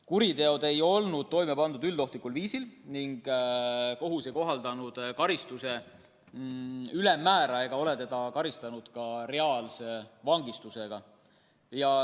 Kuriteod ei olnud toime pandud üldohtlikul viisil ning kohus ei kohaldanud karistuse ülemmäära ega karistanud teda ka reaalse vangistusega.